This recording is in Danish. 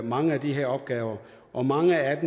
mange af de her opgaver og mange af